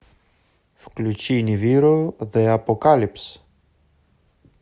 включи нивиро зе апокалипс